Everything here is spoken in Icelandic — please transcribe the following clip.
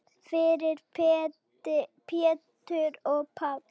Fyrir Pétur og Pál.